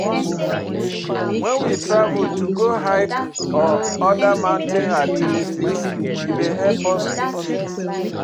When we travel to go hike or oda mountain activites, e dey help us keep fit